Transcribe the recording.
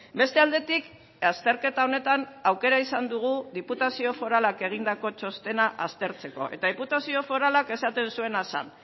beste aldetik azterketa honetan aukera izan dugu diputazio foralak egindako txostena aztertzeko eta diputazio foralak esaten zuena zen